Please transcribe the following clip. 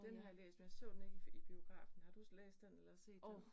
Den har jeg læst, men jeg så den ikke i i biografen. Har du læst den eller set den?